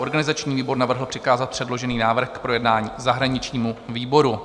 Organizační výbor navrhl přikázat předložený návrh k projednání zahraničnímu výboru.